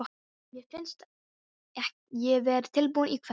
Mér fannst ég vera tilbúin í kvöld.